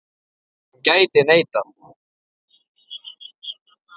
Hún gæti neitað.